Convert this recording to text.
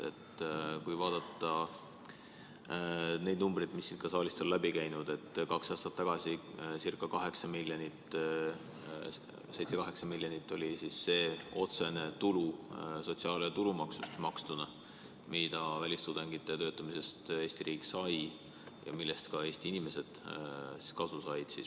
Vaatame neid numbreid, mis siit saalist on läbi käinud: kaks aastat tagasi oli 7–8 miljonit otsene tulu sotsiaal- ja tulumaksust, mida välistudengite töötamise tõttu Eesti riik sai ja millest ka Eesti inimesed kasu said.